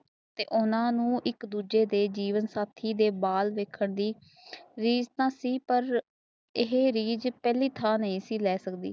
ਤੇ ਓਹਨਾ ਨੂੰ ਇਕ ਦੂਜੇ ਨੂੰ ਜੀਵਨ ਸਾਥੀ ਦੇ ਬਾਲ ਵੇਖਣ ਲਏ ਰਿਜ ਥਾਂ ਸੀ ਪਰ ਇਹ ਰਿਜ ਪਹਿਲੀ ਥਾਂ ਨਹੀਂ ਲੈ ਸਕਦੀ